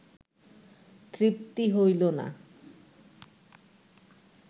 তৃপ্তি হইল না